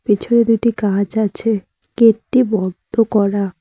পিছনে দুইটি গাছ আছে গেটটি বন্ধ করা।